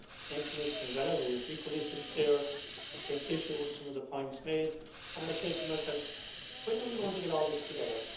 Then Commissioner Vella, who is equally sincere, takes issue with some of the points made and I say to myself, when are we going to get all this together?